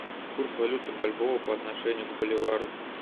курс валюты бальбоа по отношению к боливару